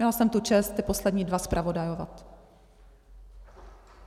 Měla jsem tu čest ty poslední dva zpravodajovat.